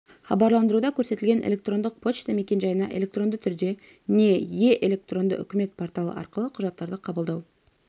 хабарландыруда көрсетілген электрондық почта мекенжайына электронды түрде не е - электронды үкімет порталы арқылы құжаттарды қабылдау